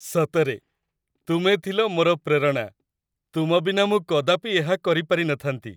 ସତରେ, ତୁମେ ଥିଲ ମୋର ପ୍ରେରଣା! ତୁମ ବିନା ମୁଁ କଦାପି ଏହା କରି ପାରି ନଥାନ୍ତି।